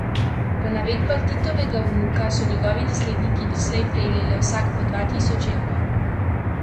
Po navedbah Titovega vnuka so njegovi nasledniki doslej prejeli le vsak po dva tisoč evrov.